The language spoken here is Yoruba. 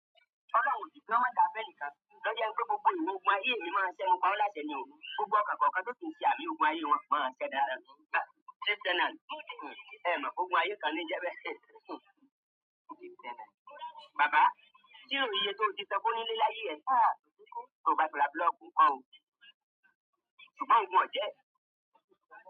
Ọlọ́run ò dí jọ́ mẹ́ta fẹ́ ẹnìkan lọ́jọ́ ń dí gbogbo ìwọ̀n gbọ̀n ayé mi máa ṣẹ́gun, pa wọ́n láṣẹ ni o. Gbogbo ọkàn kọ̀ọ̀kan tó ti ń ṣe àmì ògùn ayé wọn máa ṣẹ̀dá ẹ́, ẹ máa gbógun ayé kan ni jẹ́ pé. Baba, ṣé ò rò iye tí ó ti tẹ́kò ní líláyé ẹ sáà tó bá di ràgbà lọ́kun? Ọ̀hún ò jẹ́.